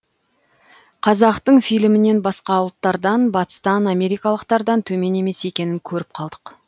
қазақтың фильмінен басқа ұлттардан батыстан америкалықтардан төмен емес екенін көріп қалдық